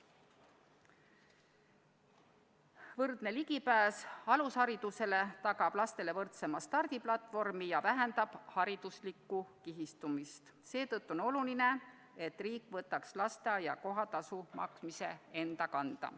Võrdne ligipääs alusharidusele tagab lastele võrdsema stardiplatvormi ja vähendab hariduslikku kihistumist, seetõttu on oluline, et riik võtaks lasteaia kohatasu maksmise enda kanda.